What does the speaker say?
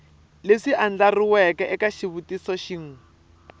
leswi andlariweke eka xivutiso xin